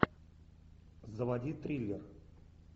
заводи триллер